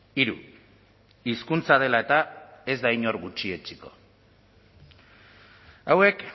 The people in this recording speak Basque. hiru hizkuntza dela eta ez da inor gutxietsiko hauek